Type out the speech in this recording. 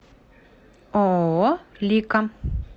ооо лика